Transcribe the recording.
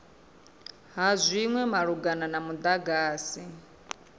ha zwinwe malugana na mudagasi